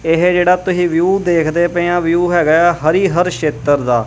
ਇਹ ਜਿਹੜਾ ਤੁਸੀਂ ਵਿਊ ਦੇਖਦੇ ਪਏ ਆ ਵਿਊ ਹੈਗਾ ਹਰੀ ਹਰ ਛੇਤਰ ਦਾ।